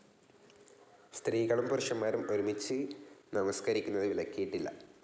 സ്ത്രീകളും പുരുഷന്മാരും ഒരുമിച്ച് നമസ്കരിക്കുന്നത് വിലക്കിയിട്ടില്ല.